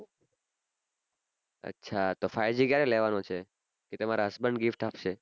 અચ્છા તો five g ક્યારે લેવાનો છે કે તમારાં husband gift આપશે